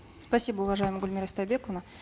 спасибо уважаемая гульмира истайбековна